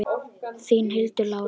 Þín, Hildur Lára.